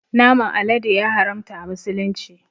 Naman alade ya haramta a musulunci